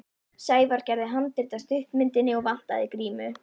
Sævar gerði handrit að stuttmyndinni og vantaði grímu.